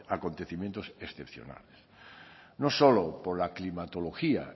acontecimientos excepcionales no solo por la climatología